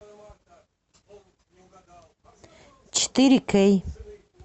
четыре кей